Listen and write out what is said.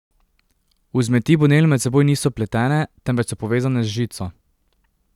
Vzmeti bonell med seboj niso pletene, temveč so povezane z žico.